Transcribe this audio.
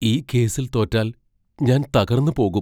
ഈ കേസിൽ തോറ്റാൽ ഞാൻ തകർന്ന് പോകും.